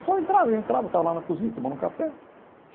Pessoal entrava, entrava, eu estava lá na cozinha, tomando um café.